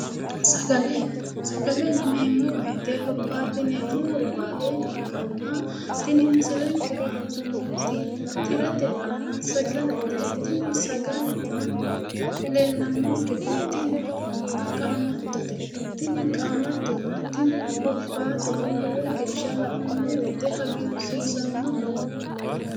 Sagale. Sagale yineemmo woyite hurbaaxxineemmo hurbaate ikkanna tini misilenke aana nooti tirete aana sagalete. Tini sagaleno leellannonkehu timahonna qaamattote. Tini qaamattonna timu hurbaateho lowo geeshsha la'nummo woyite hagiirsiisannoho.